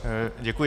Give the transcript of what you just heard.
Děkuji.